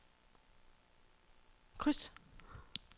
kryds